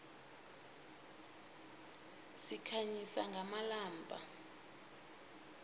sikhanyisa ngamalombha